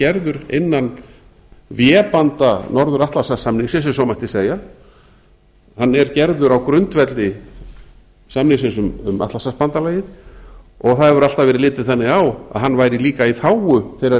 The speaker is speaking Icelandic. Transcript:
gerður innan vébanda norður atlantshafssamningsins ef svo mætti segja hann er gerður á grundvelli samningsins um atlantshafsbandalagið og það hefur alltaf verið litið þannig á að hann væri líka í þágu þeirra